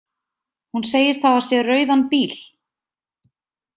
Hún segist hafa séð rauðan bíl.